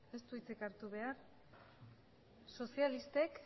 sozialistek